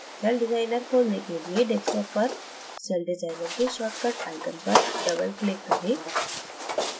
CellDesigner खोलने के लिए desktop पर सेलडिज़ाइनर के shortcut icon पर double click करें